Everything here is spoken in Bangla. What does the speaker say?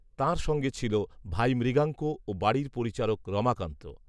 তার সঙ্গে ছিল ভাই মৃগাঙ্ক ও বাড়ির পরিচারক, রমাকান্ত